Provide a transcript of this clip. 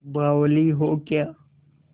बावली हो क्या